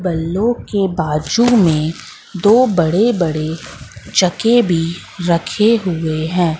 बल्लो के बाजू में दो बड़े बड़े चके भी रखे हुए हैं।